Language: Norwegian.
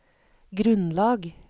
grunnlag